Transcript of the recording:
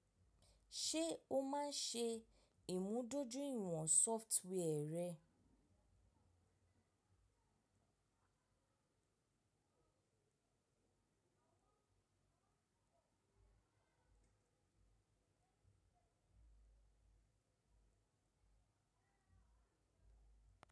Ṣé o máa ń ṣe ìmúdójúìwọ̀n software rẹ?